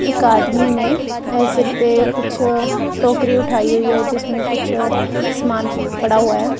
एक आदमी ने अं सिर पे कुछ टोकरी उठाई हुई है जिसमें कुछ समान पड़ा हुआ है।